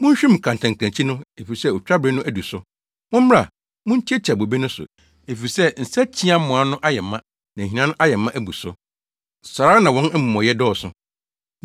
Munhwim kantankrankyi no, efisɛ otwabere no adu so. Mommra, muntiatia bobe no so, efisɛ nsakyiamoa no ayɛ ma na ahina no ayɛ ma abu so. Saa ara na wɔn amumɔyɛ dɔɔso!”